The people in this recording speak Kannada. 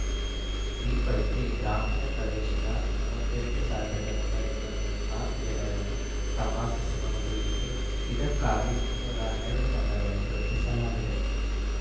ಈ ಪೈಕಿ ಗ್ರಾಮೀಣ ಪ್ರದೇಶದ ಮೂವತ್ತ್ ಎಂಟ್ ಸಾವಿರದ ಒಂಬೈನೂರ ಮೂವತ್ತ್ ನಾಲ್ಕು ಜನರನ್ನು ತಪಾಸಿಸುವ ಗುರಿ ಇದ್ದು ಇದಕ್ಕಾಗಿ ಮುನ್ನೂರ ಹನ್ನೆರಡು ತಂಡಗಳನ್ನು ರಚಿಸಲಾಗಿದೆ